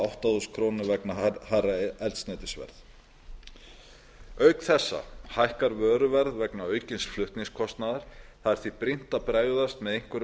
átta þúsund krónur vegna hærra eldsneytisverðs auk þessa hækkar vöruverð vegna aukins flutningskostnaðar það er því brýnt að bregðast með einhverju